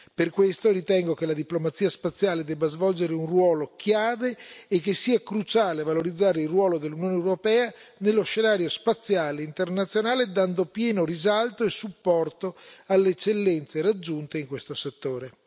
Per questo ritengo che la diplomazia spaziale debba svolgere un ruolo chiave e che sia cruciale valorizzare il ruolo dell'Unione europea nello scenario spaziale internazionale, dando pieno risalto e supporto alle eccellenze raggiunte in questo settore.